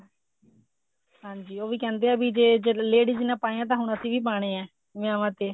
ਹਾਂਜੀ ਉਹ ਵੀ ਕਹਿੰਦੇ ਐ ਵੀ ਜਿਹੜੇ ladies ਨੇ ਪਾਏ ਹੈ ਤਾਂ ਅਸੀਂ ਵੀ ਪਾਣੇ ਐ ਵਿਆਹਵਾ ਤੇ